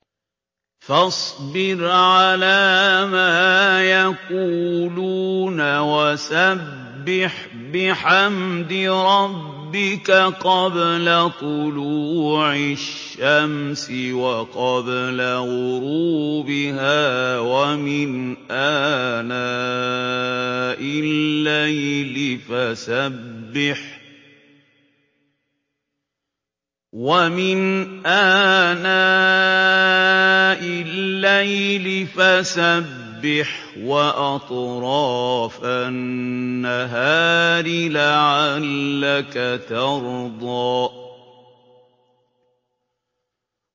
فَاصْبِرْ عَلَىٰ مَا يَقُولُونَ وَسَبِّحْ بِحَمْدِ رَبِّكَ قَبْلَ طُلُوعِ الشَّمْسِ وَقَبْلَ غُرُوبِهَا ۖ وَمِنْ آنَاءِ اللَّيْلِ فَسَبِّحْ وَأَطْرَافَ النَّهَارِ لَعَلَّكَ تَرْضَىٰ